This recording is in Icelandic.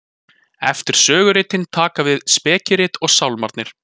Eftir söguritin taka við spekirit og Sálmarnir.